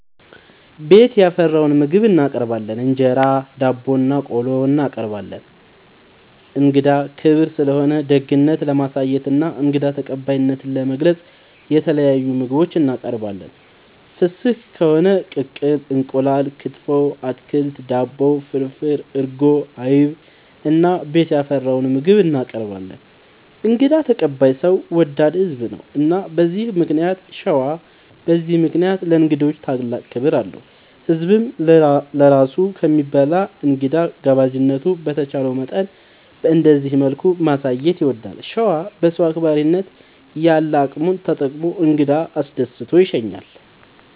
ቤት ያፈራውን ምግብ እናቀርባለን እንጀራ፣ ዳቦናቆሎ እናቀርባለን። እንግዳ ክብር ስለሆነ ደግነት ለማሳየትና እንግዳ ተቀባይነትን ለመግለፅ የተለያዩ ምግቦች እናቀርባለን። ፍስግ ከሆነ ቅቅል እንቁላል፣ ክትፎ፣ አትክልት፣ ዳቦ፣ ፍርፍር፣ እርጎ፣ አይብ እና ቤት ያፈራውን ምግብ እናቀርባለን እንግዳ ተቀባይ ሰው ወዳድ ህዝብ ነው። እና በዚህ ምክንያት ሸዋ በዚህ ምክንያት ለእንግዶች ታላቅ ክብር አለው። ህዝብም ለራሱ ከሚበላ እንግዳ ጋባዥነቱን በቻለው መጠን በእንደዚህ መልኩ ማሳየት ይወዳል። ሸዋ በሰው አክባሪነት ያለ አቅሙን ተጠቅሞ እንግዳ አስደስቶ ይሸኛል።